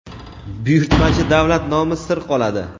buyurtmachi davlat nomi sir qoladi.